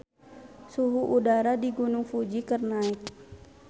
Suhu udara di Gunung Fuji keur naek